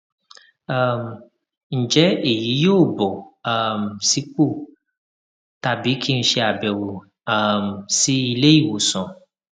um ǹjẹ èyí yóò bọ um sípò tàbí kí n ṣe àbẹwò um sí iléìwòsàn